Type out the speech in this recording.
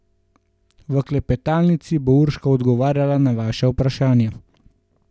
V klepetalnici bo Urška odgovarjala na vaša vprašanja.